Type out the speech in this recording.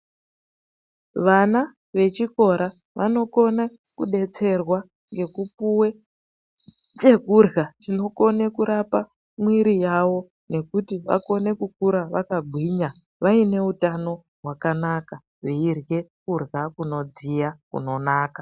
Vana vechikora vanokona kudetserwa ngekupuwe chekurya chinokone kurape mwiri yavo nekuti vakone kukura vakagwinya vaine utano hwakanaka veirye kurya kunodziya, kunonaka.